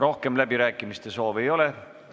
Rohkem läbirääkimiste soovi ei ole.